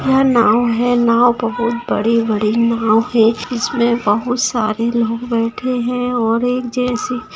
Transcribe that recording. यहाँ नवो है नवो बहुत बड़ी बड़ी नवो है जिसमे बहुत सारे लोग बैठे है और एक जेंट्स--